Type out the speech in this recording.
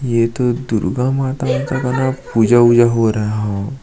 ये तो दुर्गा माता का पूजा वूजा हो रहा है हव --